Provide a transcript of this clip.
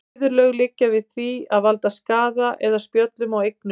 Viðurlög liggja við því að valda skaða eða spjöllum á eignum.